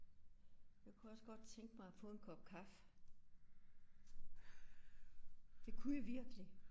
Jeg kunne også godt tænke mig at få en kop kaffe. Det kunne jeg virkelig